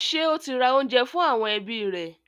Ṣé ó ti ra oúnjẹ fún àwọn ẹbí rẹ̀?